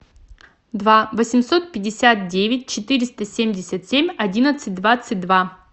два восемьсот пятьдесят девять четыреста семьдесят семь одиннадцать двадцать два